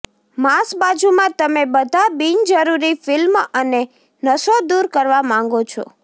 માંસ બાજુમાં તમે બધા બિનજરૂરી ફિલ્મ અને નસો દૂર કરવા માંગો છો